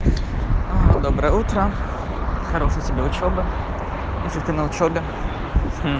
ага доброе утро хорошей тебе учёбы если ты на учёбе